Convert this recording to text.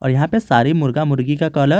यहां पे सारी मुर्गा मुर्गी का कलर --